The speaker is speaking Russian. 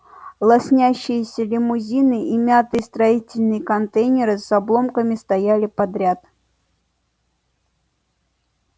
лоснящиеся лимузины и мятые строительные контейнеры с обломками стояли подряд